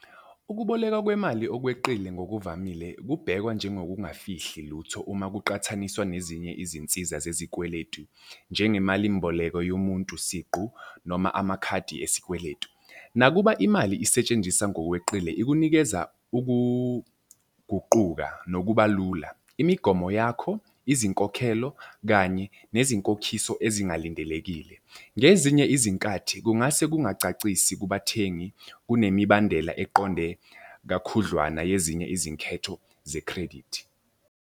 Ukuboleka kwemali okweqile ngokuvamile kubhekwa njengokungafihli lutho uma kuqathaniswa nezinye izinsiza zezikweletu. Njengemalimboleko yomuntu siqu noma amakhadi esikweletu. Nakuba imali isetshenziswa ngokweqile, ikunikeza ukuguquka nokuba lula imigomo yakho, izinkokhelo, kanye nezinkokhiso ezingalindelekile. Ngezinye izinkathi kungase kungacacisi kubathengi okunemibandela eqonde kakhudlwana yezinye izinketho ze-credit.